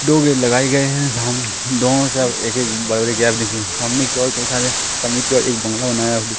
दो गेट लगाए गए हैं साम दो मतलब एक एक सामने की ओर कई सारे सामने की ओर एक बंगला बनाया--